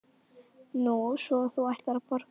Nú, svo þú ætlar að borga?